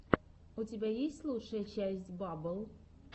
у тебя есть лучшая часть баббл